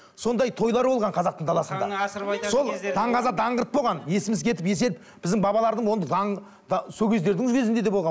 сондай тойлар болған қазақтың даласында сол даңғаза даңғырт болған есіміз кетіп еседі біздің бабалардың ондай даңқ сол кездердің өзінде де болған